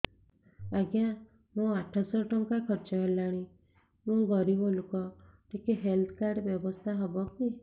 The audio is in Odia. ଆଜ୍ଞା ମୋ ଆଠ ସହ ଟଙ୍କା ଖର୍ଚ୍ଚ ହେଲାଣି ମୁଁ ଗରିବ ଲୁକ ଟିକେ ହେଲ୍ଥ କାର୍ଡ ବ୍ୟବସ୍ଥା ହବ କି